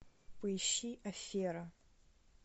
поищи афера